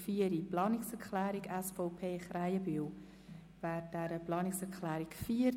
Wir fahren weiter mit der Abstimmung über die Planungserklärung 4.